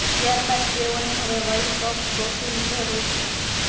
ત્યાર બાદ તેઓને હવે વલ્ડ કપ ટ્રોફીની જરૂર છે